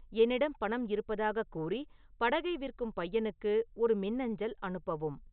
என்னிடம் பணம் இருப்பதாக கூறி படகை விற்கும் பையனுக்கு ஒரு மின்னஞ்சல் அனுப்பவும்